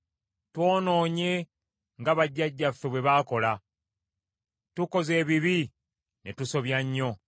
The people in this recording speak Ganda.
Twonoonye, nga bajjajjaffe bwe baakola; tukoze ebibi ne tusobya nnyo.